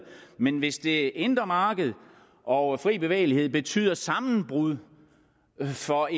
men hvis det indre marked og fri bevægelighed betyder sammenbrud for